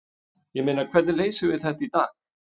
Ég meina, hvernig leysum við þetta í dag?